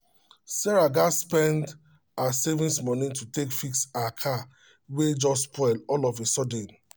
sarah gats spends her savings money to take fix her car wey just spoil all of a sudden